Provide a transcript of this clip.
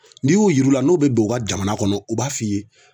N'i y'o yiru la n'o be don u ka jamana kɔnɔ u b'a f'i ye